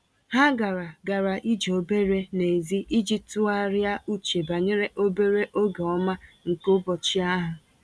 Ha gara gara ije obere n’èzí iji tụgharịa uche banyere obere oge ọma nke ụbọchị ahụ.